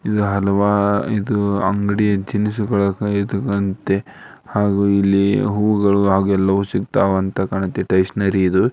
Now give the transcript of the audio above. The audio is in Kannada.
ಇದು ಹಲವಾರು ಇದು ಅಂಗಡಿ ದಿನಸಿಗಳು ಇದು ಸಂತೆ ಹಾಗೂ ಇಲ್ಲಿ ಹೂವುಗಳು ಹಾಗೂ ಎಲ್ಲವೂ ಸಿಗ್ತವಂತ ಕಾಂತದ ಸ್ಟೇಷನರಿ ಇದು.